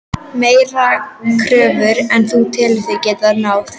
Meiri kröfur en þú telur þig geta náð?